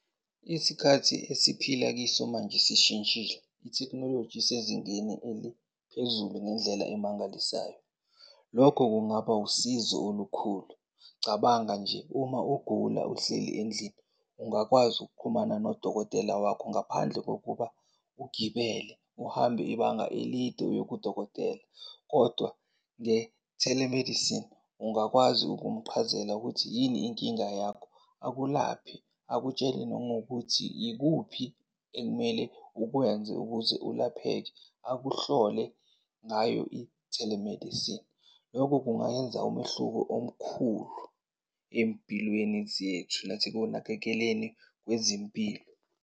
Isikhathi esiphila kiso manje sishintshile, ithekhnoloji isezingeni eliphezulu ngendlela emangalisayo. Lokho kungaba usizo olukhulu. Cabanga nje uma ugula uhleli endlini ungakwazi ukuqhumana nodokotela wakho ngaphandle kokuba ugibele uhambe ibanga elide uye kudokotela. Kodwa nge-telemedicine ungakwazi ukumuqhazela ukuthi yini inkinga yakho, akulaphe akutshele nangokuthi yikuphi ekumele ukwenze ukuze ulapheke akuhlole ngayo i-telemedicine. Loko kungayenza umehluko omkhulu ey'mpilweni zethu nasekunakekeleni kwezempilo.